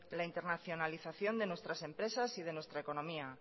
la internacionalización de nuestras empresas y de nuestra economía